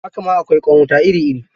Haka ma akwai ƙwan wuta iri-iri